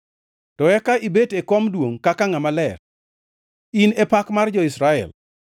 To eka ibet e kom duongʼ kaka Ngʼama Ler; in e pak mar jo-Israel.